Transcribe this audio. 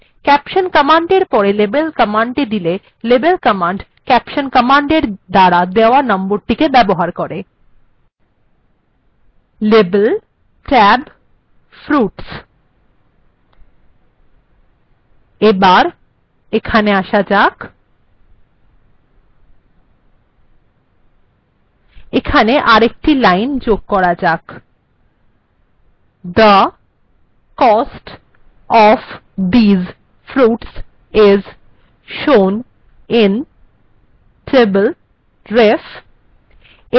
caption command এর পর label কমান্ডটি দিলে লেবেল কমান্ড caption কমান্ড এর দ্বারা দেওয়া নম্বরটি ব্যবহার করে লেবেল্ tab:fruits এখানে আসা যাক এইখানে একটি লাইন যোগ করা যাক ফলের দাম গুলি table referenceএ দেখানো হয়ছে